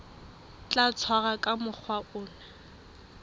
tla tshwarwa ka mokgwa o